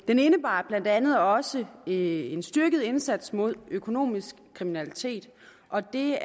den indebar blandt andet også en styrket indsats mod økonomisk kriminalitet og det